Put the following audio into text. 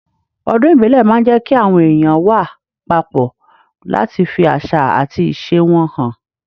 Ọdún ìbílẹ̀ máa ń jẹ́ kí àwọn èèyàn wà papọ̀ láti fi àṣà àti ìṣe wọn hàn.